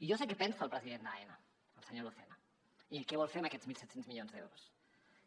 i jo sé què pensa el president d’aena el senyor lucena i què vol fer amb aquests mil set cents milions d’euros